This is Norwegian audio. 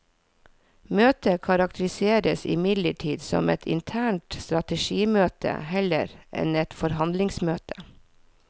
Møtet karakteriseres imidlertid som et internt strategimøte heller enn et forhandlingsmøte.